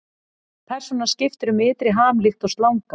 Persónan skiptir um ytri ham líkt og slanga.